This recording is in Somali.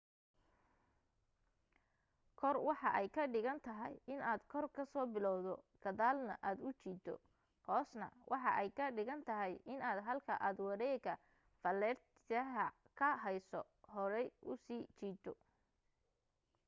kor waxa ay ka dhigan tahay inaad kor kasoo bilaawdo gadaalna aad u jiido hoosna waxa ay ka dhigan tahay inaad halka aad wareega falaartya ka heyso horay usi jiido